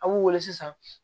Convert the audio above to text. A b'u weele sisan